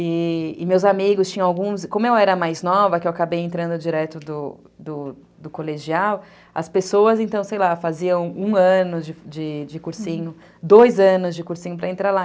E, e meus amigos tinham alguns... Como eu era mais nova, que eu acabei entrando direto do do colegial, as pessoas, então, sei lá, faziam um ano de cursinho, dois anos de cursinho para entrar lá.